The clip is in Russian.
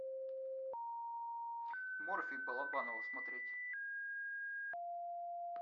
морфий балабанова смотреть